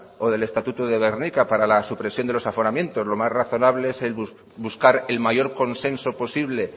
o del estatuto de gernika para la supresión de los aforamientos lo más razonable es el buscar el mayor consenso posible